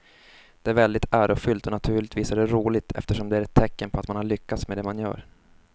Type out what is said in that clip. Det är väldigt ärofyllt och naturligtvis är det roligt eftersom det är ett tecken på att man har lyckats med det man gör.